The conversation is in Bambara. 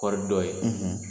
Kɔɔri dɔ ye.